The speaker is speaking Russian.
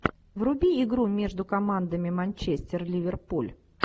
вруби игру между командами манчестер ливерпуль